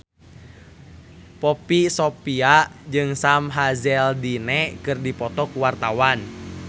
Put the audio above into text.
Poppy Sovia jeung Sam Hazeldine keur dipoto ku wartawan